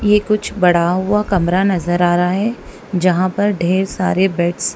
ये कुछ बड़ा हुआ कमरा नजर आ रहा है जहां पर ढेर सारे बेड्स --